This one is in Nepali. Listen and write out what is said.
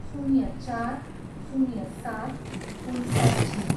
शून्य चार, शून्य सात, उन्सट्ठी